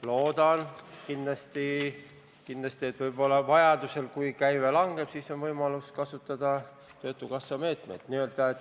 Loodan kindlasti, et kui käive langeb, siis on vajaduse korral võimalik kasutada töötukassa meetmeid.